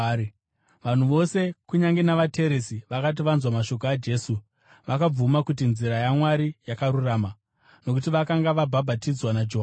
Vanhu vose, kunyange navateresi, vakati vanzwa mashoko aJesu, vakabvuma kuti nzira yaMwari yakarurama, nokuti vakanga vabhabhatidzwa naJohani.